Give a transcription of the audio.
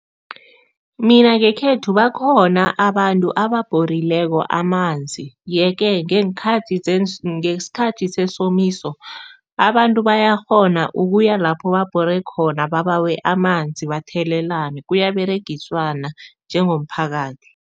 Mina ngekhethu bakhona abantu ababhorileko amanzi yeke ngeenkhathi ngesikhathi sesomiso, abantu bayakghona ukuya lapho babhore khona, babawe amanzi bathelelana, kuyaberegiswana njengomphakathi.